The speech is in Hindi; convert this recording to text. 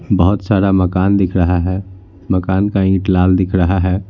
बहोत सारा मकान दिख रहा है मकान का ईंट लाल दिख रहा है।